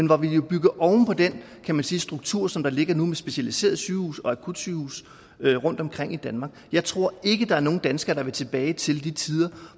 hvor vi bygger oven på den kan man sige struktur som ligger nu med specialiserede sygehuse og akutsygehuse rundtomkring i danmark jeg tror ikke der er nogen danskere der vil tilbage til de tider